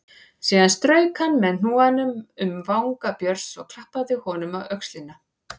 Síðan strauk hann með hnúanum um vanga Björns og klappaði honum á öxlina.